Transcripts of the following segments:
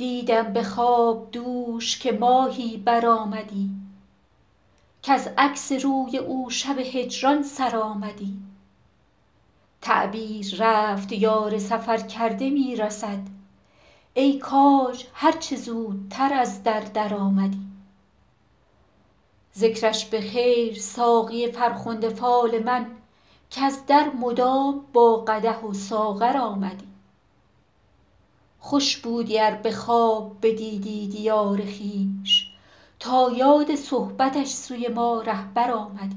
دیدم به خواب دوش که ماهی برآمدی کز عکس روی او شب هجران سر آمدی تعبیر رفت یار سفرکرده می رسد ای کاج هر چه زودتر از در درآمدی ذکرش به خیر ساقی فرخنده فال من کز در مدام با قدح و ساغر آمدی خوش بودی ار به خواب بدیدی دیار خویش تا یاد صحبتش سوی ما رهبر آمدی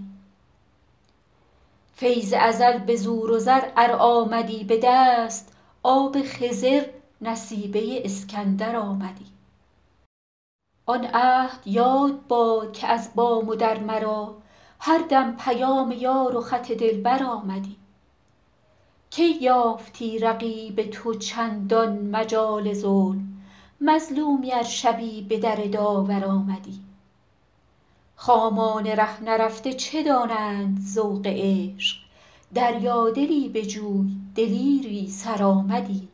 فیض ازل به زور و زر ار آمدی به دست آب خضر نصیبه اسکندر آمدی آن عهد یاد باد که از بام و در مرا هر دم پیام یار و خط دلبر آمدی کی یافتی رقیب تو چندین مجال ظلم مظلومی ار شبی به در داور آمدی خامان ره نرفته چه دانند ذوق عشق دریادلی بجوی دلیری سرآمدی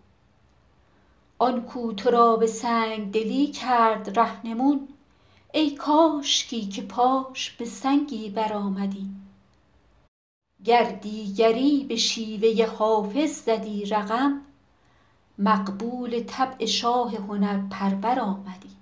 آن کو تو را به سنگ دلی کرد رهنمون ای کاشکی که پاش به سنگی برآمدی گر دیگری به شیوه حافظ زدی رقم مقبول طبع شاه هنرپرور آمدی